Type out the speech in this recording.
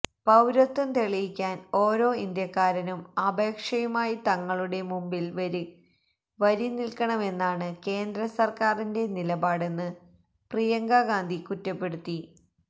പൌരത്വം തെളിയിക്കാന് ഒരോ ഇന്ത്യക്കാരനും അപേക്ഷയുമായി തങ്ങളുടെ മുമ്പില് വരി നില്ക്കണമെന്നാണ് കേന്ദ്ര സര്ക്കാറിന്റെ നിലപാടെന്ന് പ്രിയങ്ക ഗാന്ധി കുറ്റപ്പെടുത്തി